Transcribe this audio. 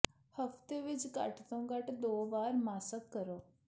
ਹਫ਼ਤੇ ਵਿਚ ਘੱਟ ਤੋਂ ਘੱਟ ਦੋ ਵਾਰ ਮਾਸਕ ਕਰੋ